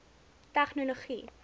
tegnologie